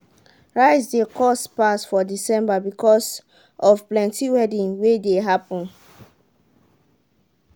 rice de cost pass for december because of plenty wedding wey de happen